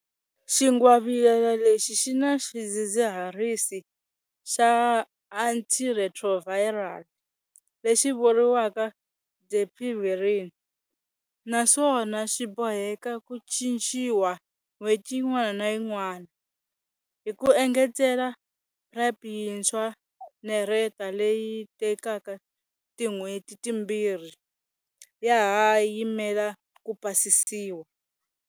Xingwavila lexi xi na xidzidziharisi xa antiretroviral lexi vuriwaka dapivirine naswona xi boheka ku cinciwa n'hweti yin'wana na yin'wana. Hi ku engetela, PrEP yintshwa - nereta leyi tekaka tin'hweti timbirhi - ya ha yimele ku pasisiwa.